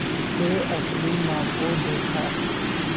से अपनी माँ को देखा